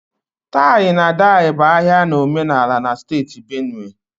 tie-na-edye bụ ahia na omenala na steeti Benue